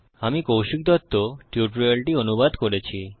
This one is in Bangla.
আমি কৌশিক দত্ত টিউটোরিয়ালটি অনুবাদ করেছি